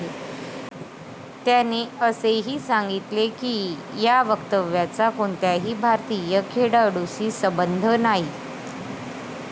त्याने असेही सांगितले की या वक्तव्याचा कोणत्याही भारतीय खेळाडूशी संबंध नाही.